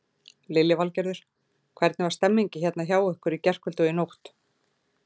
Lillý Valgerður: Hvernig var stemmingin hérna hjá ykkur í gærkvöldi og í nótt?